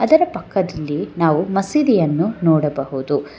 ಅದರ ಪಕ್ಕದಲ್ಲಿ ನಾವು ಮಸೀದಿಯನ್ನು ನೋಡಬಹುದು.